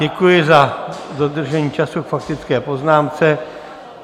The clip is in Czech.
Děkuji za dodržení času k faktické poznámce.